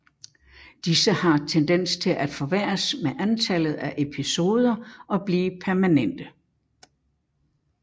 Disse har tendens til at forværres med antallet af episoder og blive permanente